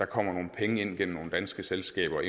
kommer nogle penge ind gennem nogle danske selskaber